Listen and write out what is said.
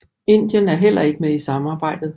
Indien er heller ikke med i samarbejdet